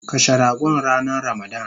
Kashe ragon ranan ramadan